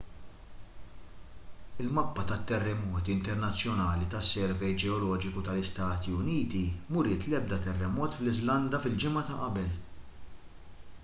il-mappa tat-terremoti internazzjonali tas-servej ġeoloġiku tal-istati uniti m'uriet l-ebda terremot fl-iżlanda fil-ġimgħa ta' qabel